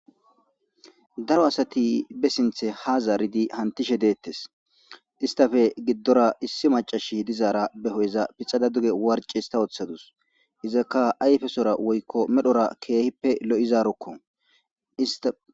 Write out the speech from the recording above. daro asati be sinthe ha zaaridi hantishe deettes istafe giddora issi macashi dizaara be hoyeza pixada duge warcis ta oththadus izakka ayfesora woykko medhora keehippe lo7izarokko ista